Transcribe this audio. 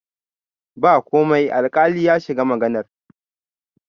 ba komai alkali ya shiga maganar